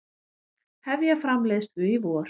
Hefja framleiðslu í vor